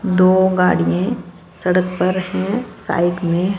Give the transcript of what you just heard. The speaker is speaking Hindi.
दो गाड़ी है सड़क पर हैं साइड में--